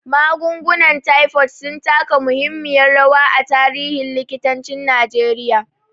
Magungunan taifod sun taka muhimmiyar rawa a tarihin likitancin Najeriya.